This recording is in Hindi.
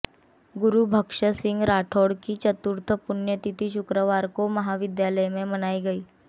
गुरुबख्श सिंह राठौर की चतुर्थ पुण्यतिथि शुक्रवार को महाविद्यालय में मनाई गई